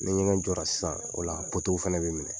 Ni ɲɛgɛn jɔra sisan , o la fɛnɛ be minɛ.